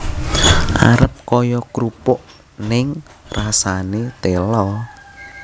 Arep kaya krupuk ning rasane tela